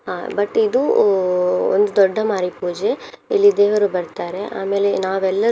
ಅಹ್ but ಇದು ಅಹ್ ಒಂದು ದೊಡ್ಡ ಮಾರಿಪೂಜೆ ಇಲ್ಲಿ ದೇವರು ಬರ್ತಾರೆ ಆಮೇಲೆ ನಾವೆಲ್ಲರೂ.